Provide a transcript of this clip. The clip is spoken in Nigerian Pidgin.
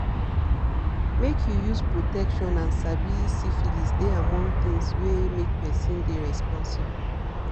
make you use protection and sabi syphilis dey among thing were make person dey responsible